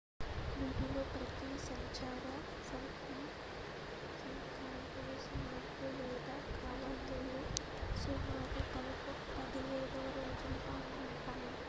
వీటిలో ప్రతి సంచార హింసాత్మక సమూహాలు లేదా కవాతులు సుమారు 17 రోజులు పాటు ఉంటాయి